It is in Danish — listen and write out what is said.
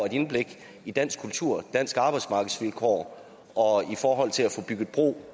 et indblik i dansk kultur og danske arbejdsmarkedsvilkår i forhold til at få bygget bro